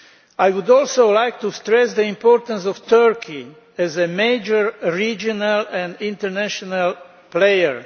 I would also like to stress the importance of Turkey as a major regional and international player.